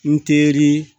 N teri